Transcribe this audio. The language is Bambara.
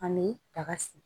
Ani daga sigi